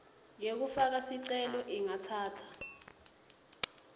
yekufaka sicelo ingatsatsa